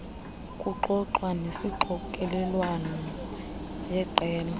kuxoxwa yesixokelelwano yeqela